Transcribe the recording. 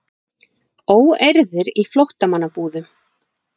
Óeirðir í flóttamannabúðum